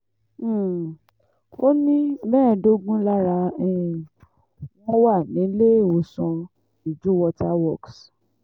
um ó ní mẹ́ẹ̀ẹ́dógún lára um wọn wà níléèwọ̀sán iju water works